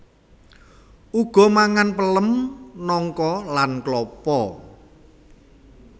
Uga mangan pelem nangka lan klapa